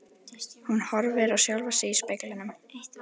Og hún horfir á sjálfa sig í speglinum.